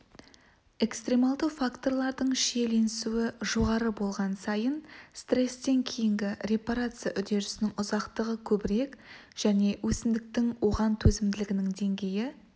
экстремальды факторлардың шиеленісуі жоғары болған сайын стрестен кейінгі репарация үдерісінің ұзақтығы көбірек және өсімдіктің оған төзімділігінің деңгейі